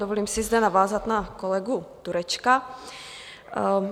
Dovolím si zde navázat na kolegu Turečka.